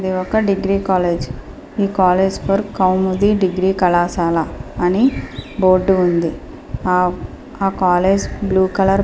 ఇది ఒక degree college . ఈ కాలేజ్ పేరు కౌముది డిగ్రీ కళాశాల అని బోర్డు ఉంది. ఆ కాలేజ్ బ్లూ కలర్ --